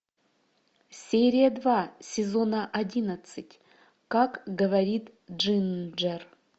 серия два сезона одиннадцать как говорит джинджер